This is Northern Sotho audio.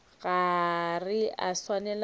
ga re a swanela go